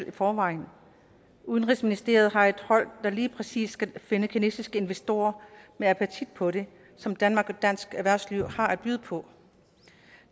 i forvejen udenrigsministeriet har et hold der lige præcis skal finde kinesiske investorer med appetit på det som danmark og dansk erhvervsliv har at byde på